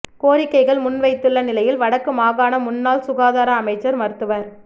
கோரிக்கைகள் முன்வைத்துள்ள நிலையில் வடக்கு மாகாண முன்னாள் சுகாதார அமைச்சர் மருத்துவர்